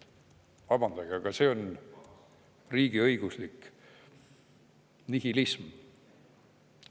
Vabandage, aga see on riigiõiguslik nihilism.